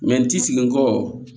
n ti sigi